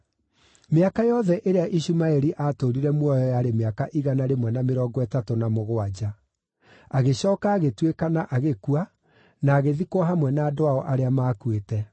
Mĩaka yothe ĩrĩa Ishumaeli aatũũrire muoyo yarĩ mĩaka igana rĩmwe na mĩrongo ĩtatũ na mũgwanja. Agĩcooka agĩtuĩkana agĩkua, na agĩthikwo hamwe na andũ ao arĩa maakuĩte.